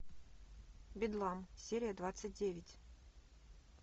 бедлам серия двадцать девять